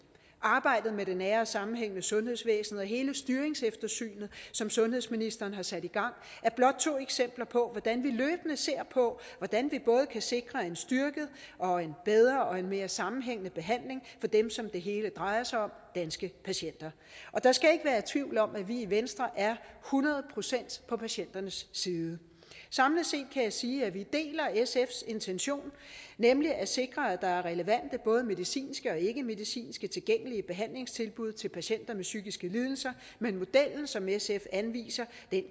arbejdet med det nære og sammenhængende sundhedsvæsen og hele styringseftersynet som sundhedsministeren har sat i gang er blot to eksempler på hvordan vi løbende ser på hvordan vi både kan sikre en styrket og en bedre og en mere sammenhængende behandling for dem som det hele drejer sig om danske patienter der skal ikke være tvivl om at vi i venstre er hundrede procent på patienternes side samlet set kan jeg sige at vi deler sfs intention nemlig at sikre at der er relevante både medicinske og ikkemedicinske tilgængelige behandlingstilbud til patienter med psykiske lidelser men modellen som sf anviser